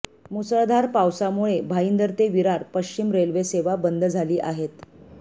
मुसळधार पावसामुळे भाईंदर ते विरार पश्चिम रेल्वे सेवा बंद झाली आहेत